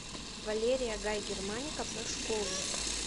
валерия гай германика про школу